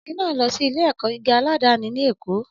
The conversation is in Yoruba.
Ọmọbìnrin náà lọ sí ilé-ẹ̀kọ́ gíga aládàáni ní Èkó